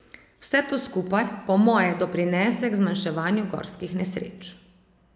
Vse to skupaj, po moje, doprinese k zmanjševanju gorskih nesreč.